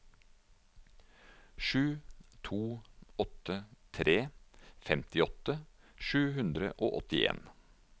sju to åtte tre femtiåtte sju hundre og åttien